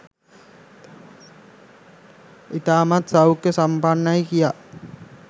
ඉතාමත් සෞඛ්‍ය සම්පන්නයි කියා.